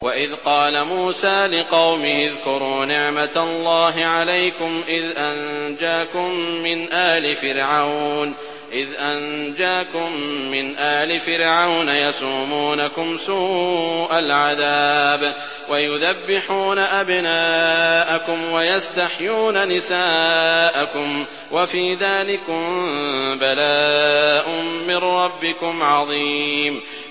وَإِذْ قَالَ مُوسَىٰ لِقَوْمِهِ اذْكُرُوا نِعْمَةَ اللَّهِ عَلَيْكُمْ إِذْ أَنجَاكُم مِّنْ آلِ فِرْعَوْنَ يَسُومُونَكُمْ سُوءَ الْعَذَابِ وَيُذَبِّحُونَ أَبْنَاءَكُمْ وَيَسْتَحْيُونَ نِسَاءَكُمْ ۚ وَفِي ذَٰلِكُم بَلَاءٌ مِّن رَّبِّكُمْ عَظِيمٌ